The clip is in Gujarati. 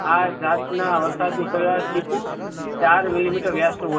આ જાત ના વરસાદ નુ સરેરાશ ચીકુ ચાર millimeter વ્યાસ નું હોય